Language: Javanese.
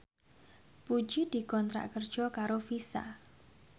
Puji dikontrak kerja karo Visa